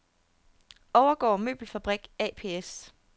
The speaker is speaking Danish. Overgaard Møbelfabrik ApS